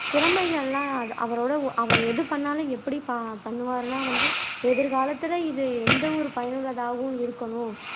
திறமை எல்லாம் அவரோட அவர் எது பண்ணாலும் எப்படி பண்ணுவாருன்னா வந்து எதிர்காலத்துல இது எந்த ஒரு பயனுள்ளதாகவும் இருக்கணும்